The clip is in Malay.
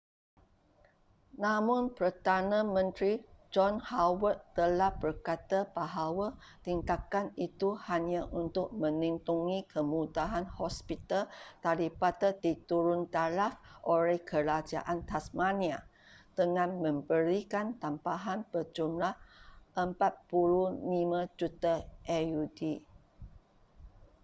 namun perdana menteri john howard telah berkata bahawa tindakan itu hanya untuk melindungi kemudahan hospital daripada diturun taraf oleh kerajaan tasmania dengan memberikan tambahan berjumlah $45 juta aud